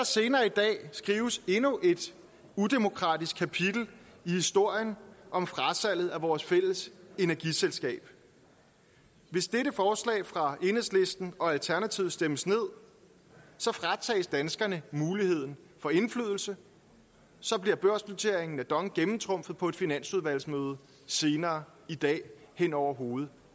senere i dag skrives endnu et udemokratisk kapitel i historien om frasalget af vores fælles energiselskab hvis dette forslag fra enhedslisten og alternativet stemmes ned fratages danskerne muligheden for indflydelse så bliver børsnoteringen af dong gennemtrumfet på et finansudvalgsmøde senere i dag hen over hovedet